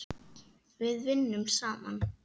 Við vinnum saman.